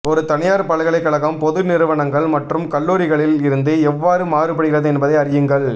ஒரு தனியார் பல்கலைக்கழகம் பொது நிறுவனங்கள் மற்றும் கல்லூரிகளில் இருந்து எவ்வாறு மாறுபடுகிறது என்பதை அறியுங்கள்